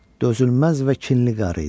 Dözülməz və kinli qarı idi.